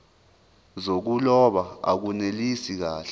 zokuloba akunelisi kahle